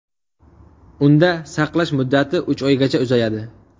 Unda saqlash muddati uch oygacha uzayadi.